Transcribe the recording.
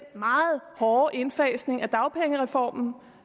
meget hårde indfasning af dagpengereformen